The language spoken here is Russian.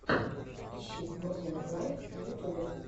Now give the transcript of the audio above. ищи мурзилок лайв на ютубе